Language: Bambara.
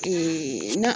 na